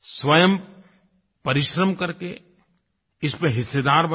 स्वयं परिश्रम करके इसमें हिस्सेदार बनें